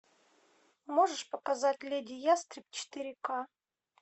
можешь показать леди ястреб четыре к